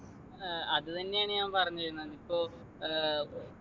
ഏർ അതുതന്നെയാണ് ഞാൻ പറഞ്ഞു വരുന്നത് ഇപ്പൊ ഏർ